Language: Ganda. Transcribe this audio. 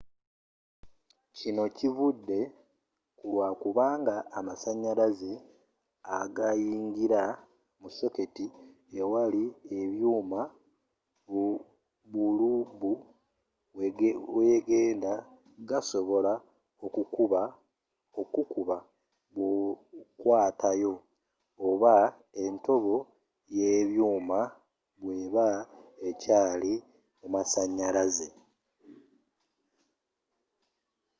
kinno kivude kulwakubanga amasanyalaze agayingira mu soketti ewali ebyuuma bulubu wegenda gasobola okukuba bwokwatayo oba entobo y'ebyuuma bweeba ekyaali mu masanyalaze